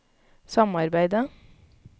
samarbeidet